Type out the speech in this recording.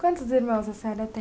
Quantos irmãos a senhora tem?